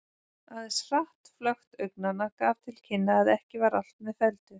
Aðeins hratt flökt augnanna gaf til kynna að ekki var allt með felldu.